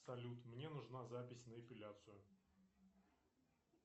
салют мне нужна запись на эпиляцию